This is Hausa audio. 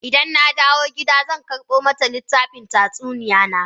Idan na dawo gida zan karbo mata littafan tatsuniyoyi na.